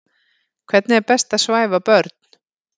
Hvernig er best að svæfa börn?